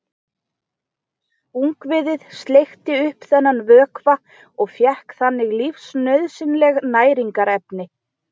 Ungviðið sleikti upp þennan vökva og fékk þannig lífsnauðsynleg næringarefni.